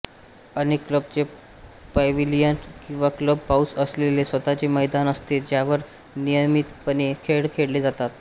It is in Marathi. अनेक क्लबचे पॅव्हिलियन किंवा क्लब हाऊस असलेले स्वतःचे मैदान असते ज्यावर नियमितपणे खेळ खेळले जातात